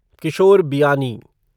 Kishore Biyani